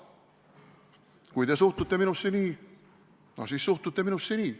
Kui te suhtute minusse nii, no siis suhtute minusse nii.